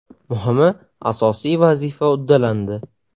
Muhimi asosiy vazifa uddalandi.